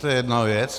To je jedna věc.